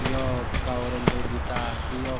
यौ कालू रंगो की तार छी यौक --